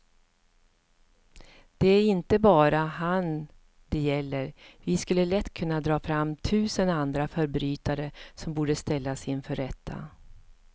Det är inte bara han det gäller, vi skulle lätt kunna dra fram tusen andra förbrytare som borde ställas inför rätta.